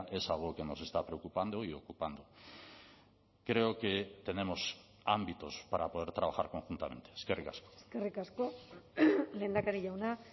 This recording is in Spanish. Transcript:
es algo que nos está preocupando y ocupando creo que tenemos ámbitos para poder trabajar conjuntamente eskerrik asko eskerrik asko lehendakari jauna